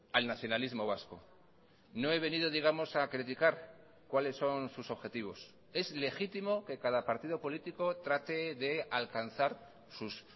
al nacionalismo vasco no he venido digamos a criticar cuáles son sus objetivos es legítimo que cada partido político trate de alcanzar sus